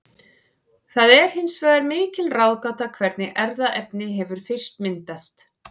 Það er hins vegar mikil ráðgáta hvernig erfðaefni hefur fyrst myndast.